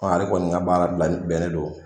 a re kɔni ka baara bilali bɛnen don